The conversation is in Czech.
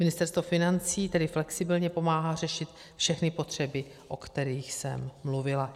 Ministerstvo financí tedy flexibilně pomáhá řešit všechny potřeby, o kterých jsem mluvila.